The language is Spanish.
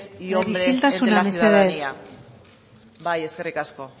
y hombres entre la ciudadanía isiltasuna mesedez bai eskerrik asko